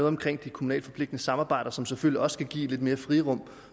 om de kommunale forpligtende samarbejder som selvfølgelig også skal give lidt mere frirum og